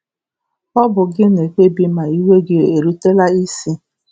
Ọ bụ gị na-ekpebi ma iwe um gị erutela isi